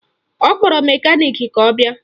Ọ kpọrọ mekaniki ka ọ bịa